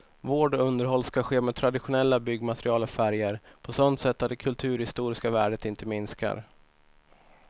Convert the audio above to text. Vård och underhåll skall ske med traditionella byggmaterial och färger, på sådant sätt att det kulturhistoriska värdet inte minskar.